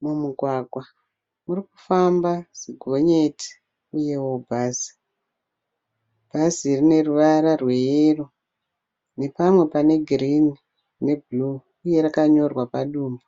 Mumugwagwa muri kufamba zigonyeti uyewo bhazi. Bhazi rine ruvara rweyero nepamwe pane girini nebhuruu uye rakanyorwa padumbu.